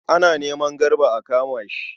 Ana neman Garba a kama shi.